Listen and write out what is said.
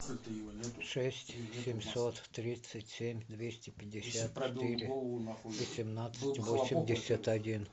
шесть семьсот тридцать семь двести пятьдесят четыре восемнадцать восемьдесят один